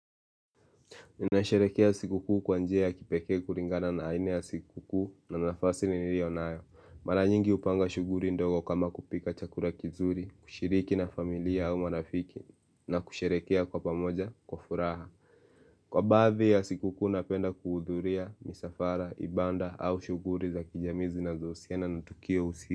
Ninasherekea sikuku kwanjea ya kipekee kulingana na aina ya sikukuu na nafasi ni nilio nayo Mara nyingi hupanga shughuli ndogo kama kupika chakula kizuri, kushiriki na familia au marafiki na kusherehekea kwa pamoja kwa furaha Kwa baadhii ya siku kuu napenda kuhudhuria, misafara, ibaada au shughuli za kijamii zinazohusiana na tukio usi.